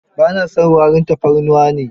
Ba na son warin tafarnuwa ne.